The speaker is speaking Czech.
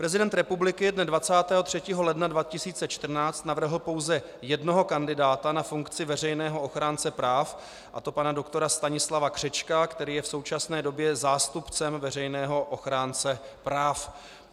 Prezident republiky dne 23. ledna 2014 navrhl pouze jednoho kandidáta na funkci veřejného ochránce práv, a to pana doktora Stanislava Křečka, který je v současné době zástupcem veřejného ochránce práv.